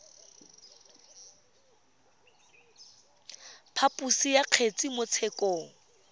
phaposo ya kgetse mo tshekong